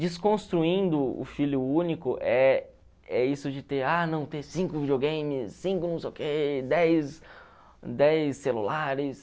Desconstruindo o filho único é é isso de ter ah não ter cinco videogames, cinco não sei o quê, dez dez celulares.